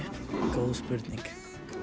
góð spurning